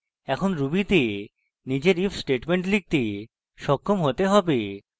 এখন ruby তে নিজের if statement লিখতে সক্ষম হতে হবে